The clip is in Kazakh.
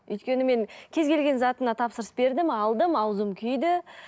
өйткені мен кез келген затына тапсырыс бердім алдым ауызым күйді